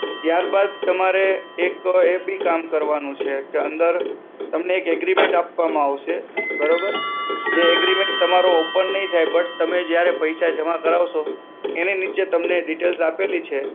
ત્યાર બાદ તમારે એક એ બી કામ કરવાનું છે, કે અંદર તમને agreement આપવામાં આવશે, બરોબર? જે agreement તમારો open નહીં થાય but તમે જયારે પૈસા જમા કરાવશો, એને નીચે તમને details આપેલી છે.